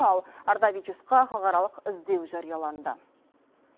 ал ардавичусқа халықаралық іздеу жарияланды